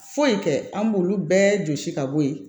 Foyi kɛ an b'olu bɛɛ jɔsi ka bɔ yen